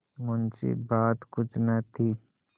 मुंशीबात कुछ न थी